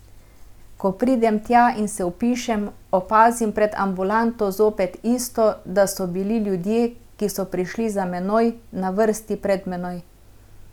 Ko pridem tja in se vpišem, opazim pred ambulanto zopet isto, da so bili ljudje, ki so prišli za menoj, na vrsti pred menoj.